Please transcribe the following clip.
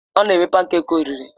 Ọ na-eme pankèki oriri.